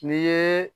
N'i ye